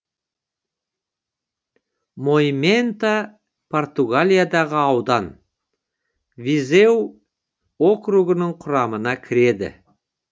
моимента португалиядағы аудан визеу округінің құрамына кіреді